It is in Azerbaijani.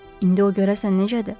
İndi o görəsən necədir?